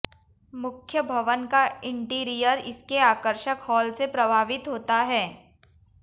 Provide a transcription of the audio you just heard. मुख्य भवन का इंटीरियर इसके आकर्षक हॉल से प्रभावित होता है